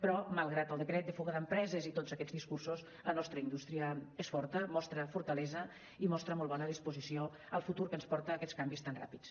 però malgrat el decret de fuga d’empreses i tots aquests discursos la nostra indústria és forta mostra fortalesa i mostra molt bona disposició al futur que ens porta aquests canvis tan ràpids